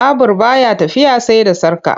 Babur ba ya tafiya sai da sarƙa.